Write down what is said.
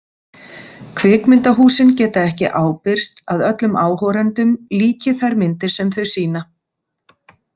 Kvikmyndahúsin geta ekki ábyrgst að öllum áhorendum líki þær myndir sem þau sýna.